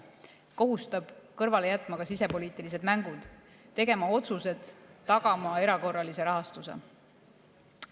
See kohustab kõrvale jätma ka sisepoliitilised mängud, tegema otsuseid, tagama erakorralise rahastuse.